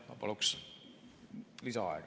Ma paluks lisaaega.